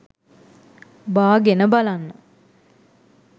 බාගෙන බලන්න.